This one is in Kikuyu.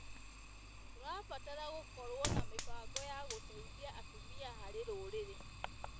Tũrabatara gũkorwo na mĩbango ya gũteithia atumia harĩ rũrĩrĩ.